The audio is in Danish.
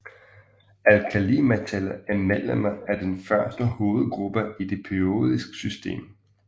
Alkalimetaller er medlemmer af den første hovedgruppe i det periodiske system